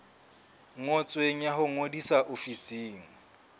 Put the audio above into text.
ngotsweng ya ho ngodisa ofising